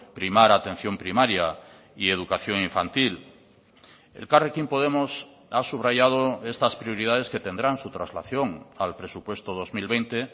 primar atención primaria y educación infantil elkarrekin podemos ha subrayado estas prioridades que tendrán su traslación al presupuesto dos mil veinte